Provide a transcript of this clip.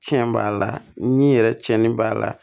Tiɲɛ b'a la ni yɛrɛ cɛnni b'a la